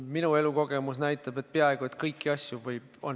Minu elukogemus näitab, et peaaegu kõiki asju võib käsitada mitmeti.